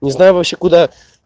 не знаю вообще куда